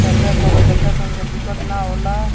ऐसा कोन्हो लइका संग के दिक्कत न ओला।